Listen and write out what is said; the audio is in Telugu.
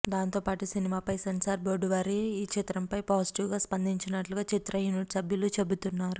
దాంతో పాటు సినిమాపై సెన్సార్ బోర్డు వారు ఈ చిత్రంపై పాజిటివ్గా స్పందించినట్లుగా చిత్ర యూనిట్ సభ్యులు చెబుతున్నారు